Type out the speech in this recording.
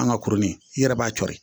An ka kurunin i yɛrɛ b'a co de